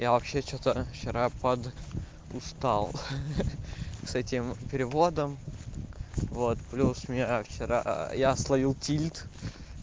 я вообще что-то вчера под устал с этим переводом вот плюс меня вчера я словил тильт